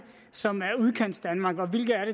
som er udkantsdanmark og hvilke er